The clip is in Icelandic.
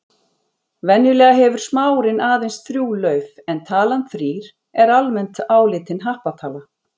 Venjulega hefur smárinn aðeins þrjú lauf en talan þrír er almennt álitin happatala.